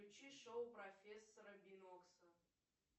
включи шоу профессора бинокса